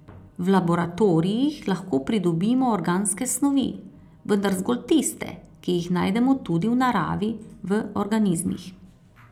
V laboratorijih lahko pridobimo organske snovi, vendar zgolj tiste, ki jih najdemo tudi v naravi v organizmih.